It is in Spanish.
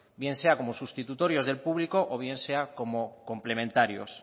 bien sea como sustitutorios del público o bien sea como complementario